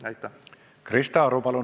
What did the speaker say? Krista Aru, palun!